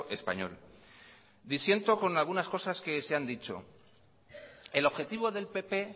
español disiento con algunas cosas que se han dicho el objetivo del pp